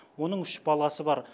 оның үш баласы бар